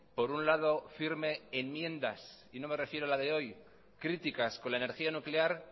por un lado firme enmiendas y no me refiero a la de hoy críticas con la energía nuclear